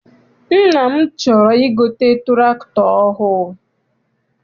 Nna m chọrọ I gote tụractọr ọhụụ.